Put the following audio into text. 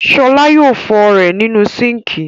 Ṣọlá yóò fọ ú rẹ̀ nínú síńkì..